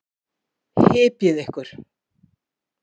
Hypjið ykkur.